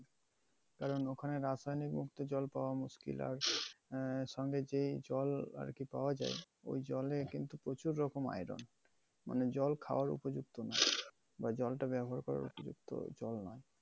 কারণ ওখানে রাজধানীর মধ্যে জল পাওয়া মুস্কিল, আর আহ সঙ্গে যে জল আর কি পাওয়া যায় ঐ জলে কিন্তু প্রচুর রকম iron মানে জল খাওয়ার উপযুক্ত না। বা জলটা ব্যাবহার করার উপযুক্ত ওটাও না।